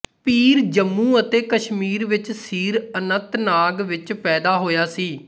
ਪੀਰ ਜੰਮੂ ਅਤੇ ਕਸ਼ਮੀਰ ਵਿੱਚ ਸੀਰ ਅਨੰਤਨਾਗ ਵਿੱਚ ਪੈਦਾ ਹੋਇਆ ਸੀ